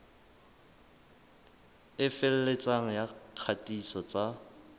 e felletseng ya kgatiso tsa